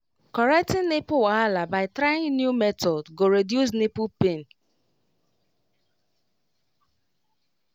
correcting nipple wahala by trying new method go reduce nipple pain wait